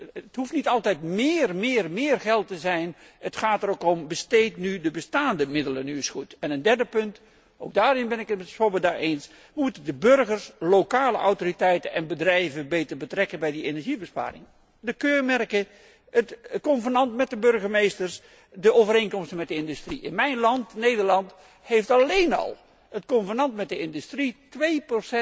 Het hoeft niet altijd meer geld te zijn, het gaat er ook om om de bestaande middelen goed te besteden. En een derde punt ook daar ben ik het met de heer Swoboda eens men moet de burgers, de lokale autoriteiten en bedrijven meer betrekken bij die energiebesparing, zoals de keurmerken, het convenant met de burgemeesters, de overeenkomsten met de industrie. In mijn land, Nederland, heeft alleen al het convenant met de industrie